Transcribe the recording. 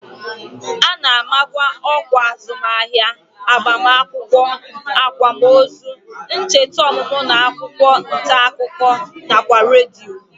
A na-amakwa ọkwa azụmahịa, agbamakwụkwọ, akwamozu, ncheta ọmụmụ n'akwụkwọ ntaakụkọ nakwa redio